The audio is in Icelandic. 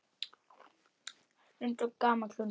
Stundum gamall hundur.